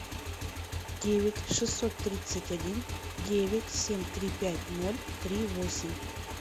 девять шестьсот тридцать один девять семь три пять ноль три восемь